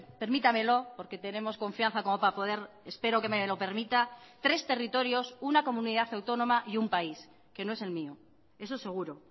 permítamelo porque tenemos confianza como para poder espero que me lo permita tres territorios una comunidad autónoma y un país que no es el mío eso seguro